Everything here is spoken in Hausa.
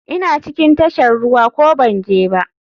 Ina cikin tashar ruwa ko banje ba?